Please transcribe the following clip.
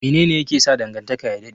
Mene ne yake sa dangantaka ya dade?